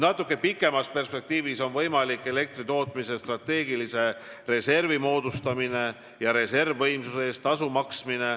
Natuke pikemas perspektiivis on võimalik moodustada elektritootmise strateegiline reserv ja reservvõimsuse eest tasu maksta.